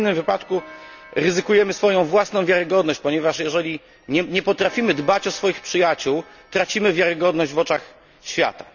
W innym wypadku ryzykujemy swoją własną wiarygodność, ponieważ jeżeli nie potrafimy dbać o swoich przyjaciół, tracimy wiarygodność w oczach świata.